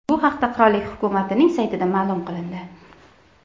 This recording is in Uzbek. Bu haqda qirollik hukumatining saytida ma’lum qilindi .